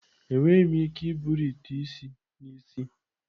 Enweghị m ike iburu ite isi n'isi.